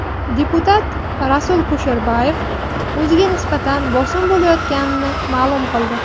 Deputat Rasul Kusherboyev o‘ziga nisbatan bosim bo‘layotganini ma’lum qildi.